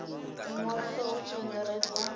u ṅwaliswa hu tshi angaredzwa